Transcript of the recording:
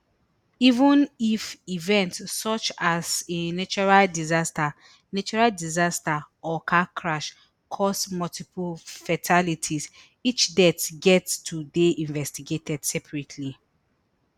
even if event such as a natural disaster natural disaster or car crash cause multiple fatalities each death get to dey investigated separately